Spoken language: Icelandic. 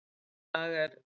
Í dag er